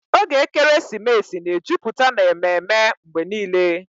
Oge ekeresimesi na-ejupụta n'ememe mgbe niile